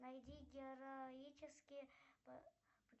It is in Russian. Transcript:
найди героические